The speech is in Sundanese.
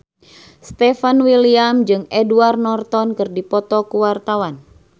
Stefan William jeung Edward Norton keur dipoto ku wartawan